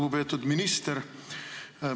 Lugupeetud minister!